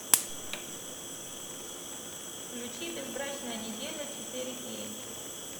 включи безбрачная неделя четыре кей